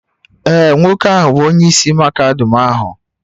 Ee, nwoke ahụ bụ onyeisi mahadum ahu